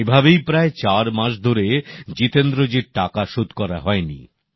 এভাবেই প্রায় চার মাস ধরে জিতেন্দ্র জির টাকা শোধ করা হয়নি